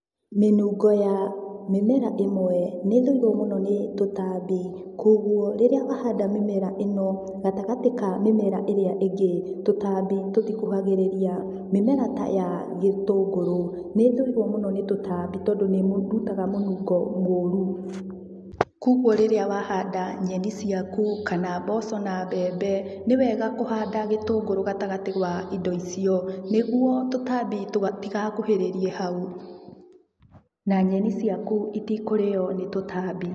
Mĩnungo ya mĩmera ĩmwe nĩ ĩthũirwo mũno nĩ tũtambi koguo rĩrĩa wahanda mĩmera ĩno gatagatĩ ka mĩmera ĩrĩa ingĩ tũtambi tũtikũhagĩrĩria, mĩmera ta ya gĩtũngũrũ nĩthũirwo mũno nĩ tũtambi tondũ nĩrutaga mũnungo mũru, koguo rĩrĩa wahanda nyeni ciaku kana mboco na mbembe nĩwega kũhanda gĩtũngũru gatagatĩ ka indo icio nĩguo tũtambi tũtigakũhĩrĩrie hau na nyeni ciaku itikũrĩo nĩ tũtambi.